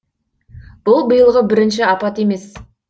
бұл биылғы бірінші апат емес